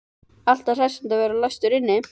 Alltaf hressandi að vera læstur inni.